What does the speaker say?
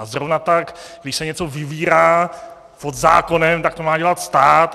A zrovna tak když se něco vybírá pod zákonem, tak to má dělat stát.